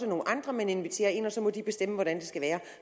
nogle andre man inviterer ind og så må de bestemme hvordan det skal være